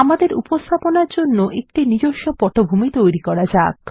আমাদের উপস্থাপনার জন্য একটি নিজস্ব পটভূমি তৈরি করা যাক